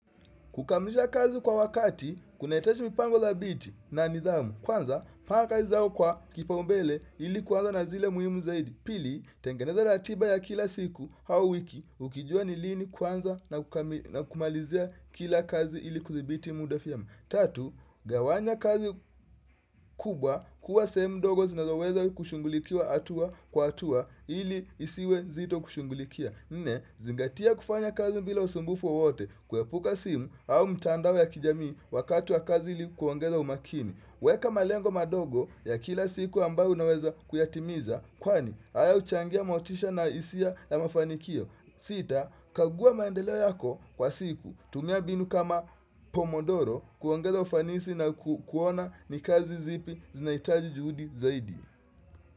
Kukamisha kazi kwa wakati, kuna hitaji mipango dhabiti na nidhamu. Kwanza, paka zao kwa kipaumbele ili kuanza na zile muhimu zaidi. Pili, tengeneza ratiba ya kila siku hao wiki, ukijua ni lini kwanza na ku kumalizia kila kazi ili kudhibiti muda vyema. Tatu, gawanya kazi kubwa kuwa sehemu ndogo zinazoweza kushunghulikiwa atua kwa hatua ili isiwe nzito kushungulikia Nne, zingatia kufanya kazi bila usumbufu wowote kuepuka simu au mtandao ya kijamii wakati wa kazi ili kuongeza umakini Weka malengo madogo ya kila siku ambayo unaweza kuyatimiza kwani haya huchangia motisha na hisia ya mafanikio sita, kaguwa maendeleo yako kwa siku, tumia binu kama Pomodoro kuongeza ufanisi na ku kuona ni kazi zipi zinahitaji juhudi zaidi.